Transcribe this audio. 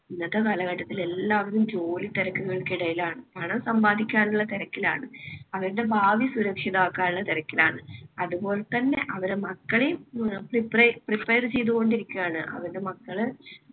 ഇന്നത്തെ കാലഘട്ടത്തിൽ എല്ലാവരും ജോലിത്തിരക്കുകൾക്കിടയിലാണ്. പണം സമ്പാദിക്കാനുള്ള തിരക്കിലാണ്. അവരുടെ ഭാവി സുരക്ഷിതമാക്കാനുള്ള തിരക്കിലാണ്. അതുപോലെതന്നെ അവരുടെ മക്കളെയും prep~ prepared ചെയ്തുകൊണ്ടിരിക്കുവാണ്. അവരുടെ മക്കള്